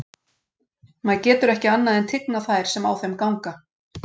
Maður getur ekki annað en tignað þær sem á þeim ganga.